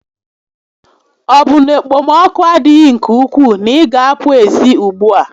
Ọ bụ na okpom6oku adịghị nke ukwuu na-ị gá a apụ ezi ùgbúà?